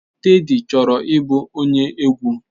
Teddy chọrọ ịbụ onye egwu.